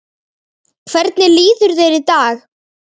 Hvernig líður þér í dag?